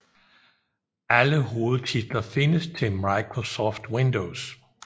Alle hovedtitler findes til Microsoft Windows